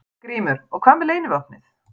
GRÍMUR: Og hvað með leynivopnið?